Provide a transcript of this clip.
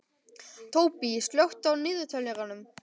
Tóbý, slökktu á niðurteljaranum.